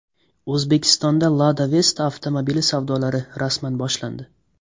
O‘zbekistonda Lada Vesta avtomobili savdolari rasman boshlandi.